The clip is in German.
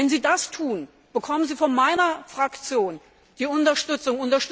Wenn Sie das tun, bekommen Sie von meiner Fraktion die Unterstützung.